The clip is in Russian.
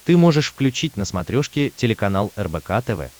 ты можешь включить на смотрешке телеканал рбк тв